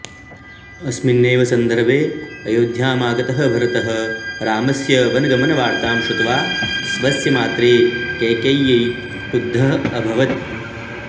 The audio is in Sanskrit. अस्मिन्नेव सन्दर्भे अयोध्यामागतः भरतः रामस्य वनगमनवार्तां श्रुत्वा स्वस्य मात्रे कैकेय्यै क्रुद्धः अभवत्